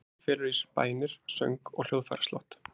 Særingin felur í sér bænir, söng og hljóðfæraslátt.